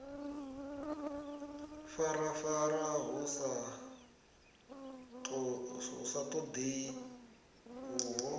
farafara hu sa ṱoḓei uho